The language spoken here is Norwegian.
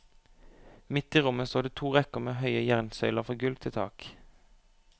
Midt i rommet står det to rekker med høye jernsøyler fra gulv til tak.